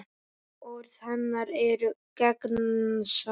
Orð hennar eru gegnsæ.